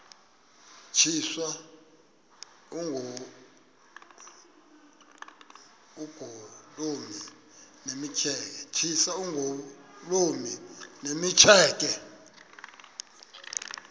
tyiswa oogolomi nemitseke